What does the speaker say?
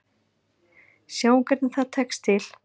Sjáum hvernig það tekst til.